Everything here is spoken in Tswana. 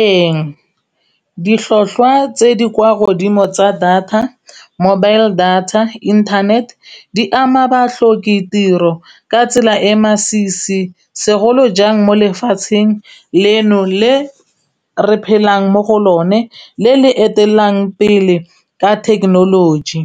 Ee, ditlhotlhwa tse di kwa godimo tsa mobile data internet di ama batlhoka ditiro ka tsela e masisi segolo jang mo lefatsheng leno le re phelang mo go lone le le etelelang pele ka thekenoloji,